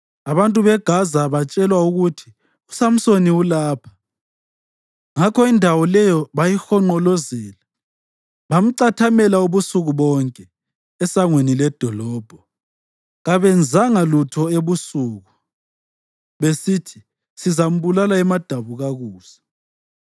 Abantu beGaza batshelwa ukuthi, “USamsoni ulapha!” Ngakho indawo leyo bayihonqolozela bamcathamela ubusuku bonke esangweni ledolobho. Kabenzanga lutho ebusuku, besithi, “Sizambulala emadabukakusa.”